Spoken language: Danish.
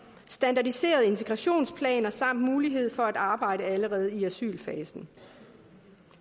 standardiserede integrationsplaner samt mulighed for at arbejde allerede i asylfasen